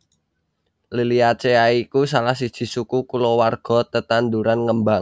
Liliaceae iku salah siji suku kulawarga tetanduran ngembang